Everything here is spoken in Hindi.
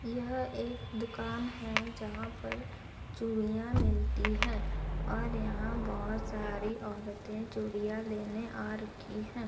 यह एक दुकान है जहां पर चूड़ियां मिलती है और यहां बहोत सारी औरते चूड़ियां लेने आ रखी हैं।